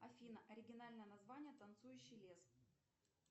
афина оригинальное название танцующий лес